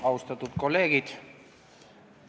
Austatud kolleegid!